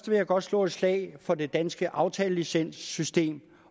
vil jeg godt slå et slag for det danske aftalelicenssystem